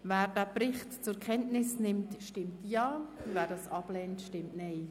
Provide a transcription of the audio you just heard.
Wer diesen Bericht zur Kenntnis nimmt, stimmt Ja, wer die Kenntnisnahme ablehnt, stimmt Nein.